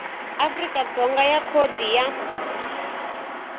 afrika dzonga ya khodi ya